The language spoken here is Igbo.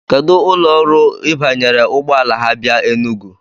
Kedu ụlọ ọrụ Ị banyere ụgbọala ha bịa Enugu?